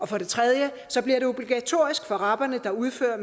for det tredje bliver det obligatorisk for de rabere der udfører